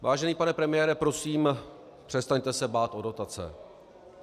Vážený pane premiére, prosím, přestaňte se bát o dotace.